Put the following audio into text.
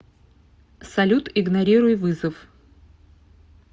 салют игнорируй вызов